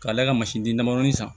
K'ale ka di damadɔni san